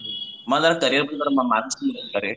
मला जरा करियर कडे जरा मार्गदर्शन